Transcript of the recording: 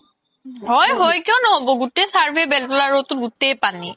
হয় হয় কিয় ন্হ্'ব গুতেই survey বেল্তলা road তোতে গুতেই পানি